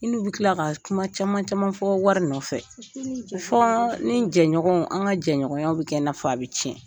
I n'u bɛ tila ka kuma caman caman fɔ , wari nɔfɛ fɔ ni jɛɲɔgɔnw an ka jɛɲɔgɔnw bɛ kɛ n'a fɔ a bɛ tiɲɛ.